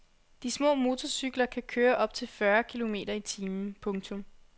De små motorcykler kan køre op til fyrre kilometer i timen. punktum